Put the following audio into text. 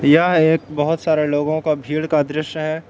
यह एक बहुत सारे लोगों का भीड़ का दृश्य है।